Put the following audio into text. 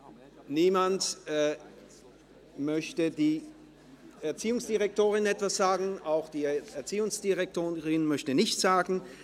– Niemand meldet sich, und auch die Erziehungsdirektorin möchte sich nicht äussern.